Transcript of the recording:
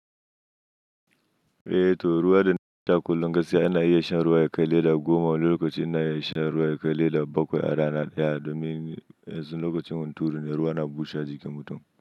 Eh to ruwa dai da kullum gaskiya ana iya shan ruwa yakar leda goma lokaci ana iya shan ruwa yakar leda bakwai a rana ɗaya domin yanzu lokacin hunturu ne ruwa na bushe jikin mutum.